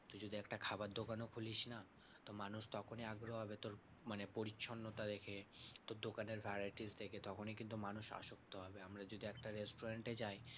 যদি একটা খাবার দোকানও খুলিস না? তো মানুষ তখনই আগ্রহ হবে তোর মানে পরিচ্ছন্নতা দেখে তোর দোকানের varieties দেখে তখনই কিন্তু মানুষ আসক্ত হবে। আমরা যদি একটা restaurant এ যাই